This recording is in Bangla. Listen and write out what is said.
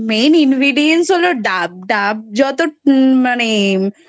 Main Ingredience ডাব ডাব যত মানে